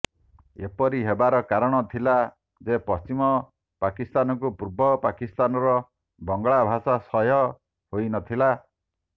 ଏପରି ହେବାର କାରଣ ଥିଲା ଯେ ପଶ୍ଚିମ ପାକିସ୍ଥାନକୁ ପୂର୍ବ ପାକିସ୍ଥାନର ବଙ୍ଗଳାଭାଷା ସହ୍ୟ ହୋଇ ନଥିଲା